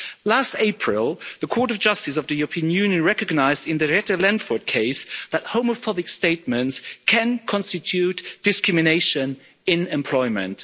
Last April the Court of Justice of the European Union recognised in the Rete Lenford case that homophobic statements can constitute discrimination in employment.